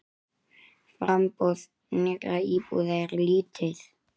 Framboð nýrra íbúða er lítið.